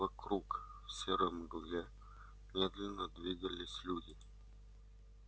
вокруг в серой мгле медленно двигались люди